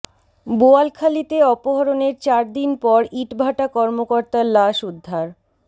বোয়ালখালীতে অপহরণের চার দিন পর ইট ভাটা কর্মকর্তার লাশ উদ্ধার